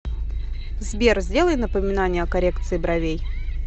сбер сделай напоминание о коррекции бровей